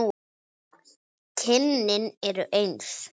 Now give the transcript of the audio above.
Kynin eru eins.